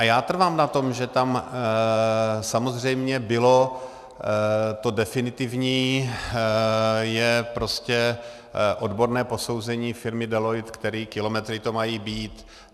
A já trvám na tom, že tam samozřejmě bylo... to definitivní je prostě odborné posouzení firmy Deloitte, které kilometry to mají být.